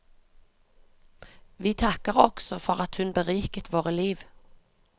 Vi takker også for at hun beriket våre liv.